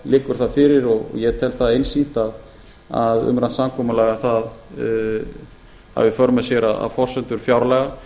liggur það fyrir og ég tel það einsýnt að umrætt samkomulag hafi í för með sér að forsendur fjárlaga